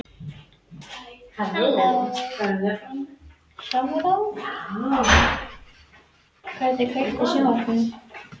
Eberg, kveiktu á sjónvarpinu.